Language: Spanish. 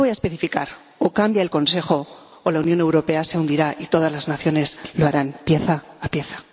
Yo voy a especificar o cambia el Consejo, o la Unión Europea se hundirá y todas las naciones lo harán, pieza a pieza.